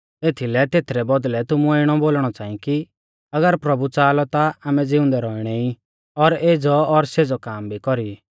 एथीलै तेथरै बौदल़ै तुमुऐ इणौ बोलणौ च़ांई कि अगर प्रभु च़ाहा लौ ता आमै ज़िउंदै रौउणै ई और एज़ौ और सेज़ौ काम भी कौरी ई